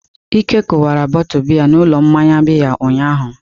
Ike kụwara bọtu biya n'ụlọ mmanya bịya ụnyahụ.